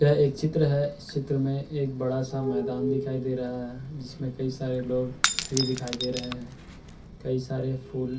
यह एक चित्र है। इस चित्र में एक बड़ा-सा मैदान दिखाई दे रहा है। जिसमें कई सारे लोग भी दिखाई दे रहे हैं। कई सारे फूल --